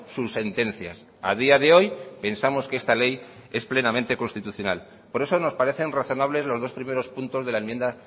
sus sentencias a día de hoy pensamos que esta ley es plenamente constitucional por eso nos parecen razonables los dos primeros puntos de la enmienda